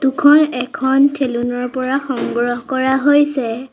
Photo খন এখন থেলুন ৰ পৰা সংগ্ৰহ কৰা হৈছে।